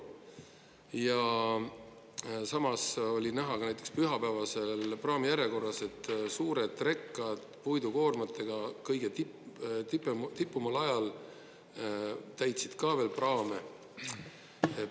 Ja samas oli näha ka näiteks pühapäeval praamijärjekorras, et suured rekad puidukoormatega kõige tipumal ajal täitsid ka veel praame.